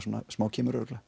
kemur örugglega